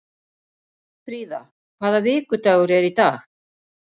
Fríða, hvaða vikudagur er í dag?